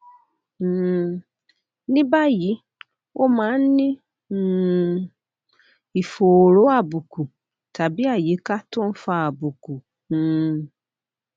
um ní báyìí o máa ń ní um ìfòòró àbùkù tàbí àyíká tó ń fa àbùkù um